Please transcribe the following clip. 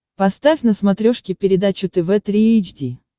поставь на смотрешке передачу тв три эйч ди